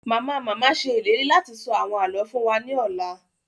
Mama-mama ṣe ìlérí láti sọ àwọn àlọ fún wa ni ọla